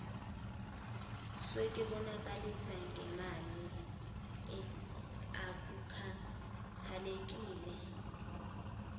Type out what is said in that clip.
sokwebolekisa ngemali akukhathalekile